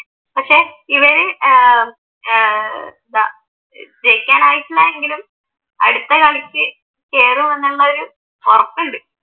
പക്ഷെ ഈ ഏർ ഏർ ജയിക്കാനായിട്ടില്ല എങ്കിലും അടുത്ത കളിക്ക് കേറുമൊന്നുള്ളത് ഉറപ്പുണ്ട്